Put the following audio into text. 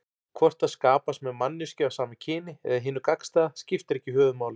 Hvort það skapast með manneskju af sama kyni eða hinu gagnstæða skiptir ekki höfuðmáli.